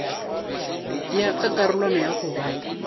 ya ka karolwana ya goba